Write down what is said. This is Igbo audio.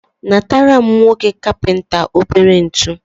natara m nwoke kapịnta obere ntu.